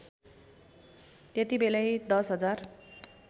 त्यतिबेलै १० हजार